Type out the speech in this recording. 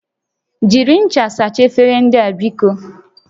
Jiri ncha sachaa efere ndị a biko!